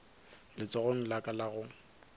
letsogong la ka la go